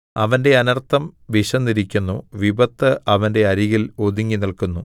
അവന്റെ അനൎത്ഥം വിശന്നിരിക്കുന്നു വിപത്ത് അവന്റെ അരികിൽ ഒരുങ്ങി നില്ക്കുന്നു